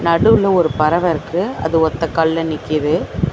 நடுவுல ஒரு பறவ இருக்கு அது ஒத்த கால்ல நிக்கிது.